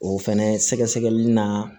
O fɛnɛ sɛgɛsɛgɛli na